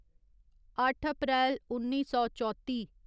अट्ठ अप्रैल उन्नी सौ चौत्ती